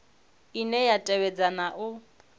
ine ya tevhedza na u